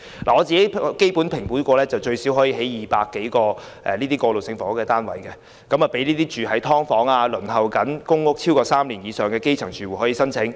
據我評估，該用地最少可興建200多個過渡性房屋單位，供輪候公屋超過3年的基層"劏房"住戶申請。